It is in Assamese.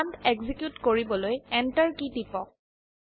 কম্মান্দ এক্সিকিউট কৰিবলৈ Enter কী টিপক